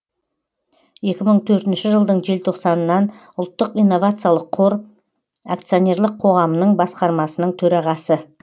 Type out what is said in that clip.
екі мың төртінші жылдың желтоқсанынан ұлттық инновациялық қор акционерлік қоғамының басқармасының төрағасы